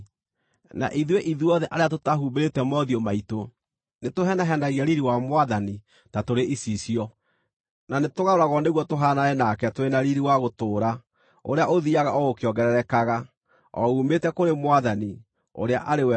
Na ithuĩ ithuothe arĩa tũtahumbĩrĩte mothiũ maitũ, nĩtũhenahenagia riiri wa Mwathani ta tũrĩ icicio, na nĩtũgarũragwo nĩguo tũhaanane nake tũrĩ na riiri wa gũtũũra ũrĩa ũthiiaga o ũkĩongererekaga, o uumĩte kũrĩ Mwathani, ũrĩa arĩ we Roho.